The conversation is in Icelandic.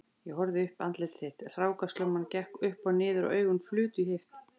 Ég horfði uppí andlit þitt, hrákaslumman gekk upp og niður og augun flutu í heift